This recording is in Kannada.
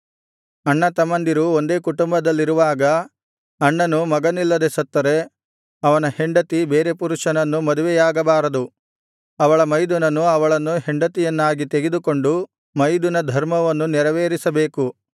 ಅಣ್ಣತಮ್ಮಂದಿರು ಒಂದೇ ಕುಟುಂಬದಲ್ಲಿರುವಾಗ ಅಣ್ಣನು ಮಗನಿಲ್ಲದೆ ಸತ್ತರೆ ಅವನ ಹೆಂಡತಿ ಬೇರೆ ಪುರುಷನನ್ನು ಮದುವೆಯಾಗಬಾರದು ಅವಳ ಮೈದುನನು ಅವಳನ್ನು ಹೆಂಡತಿಯನ್ನಾಗಿ ತೆಗೆದುಕೊಂಡು ಮೈದುನಧರ್ಮವನ್ನು ನೆರವೇರಿಸಬೇಕು